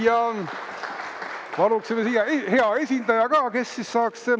Nii, ja paluksime siia hea esindaja ka, kes siis saaks …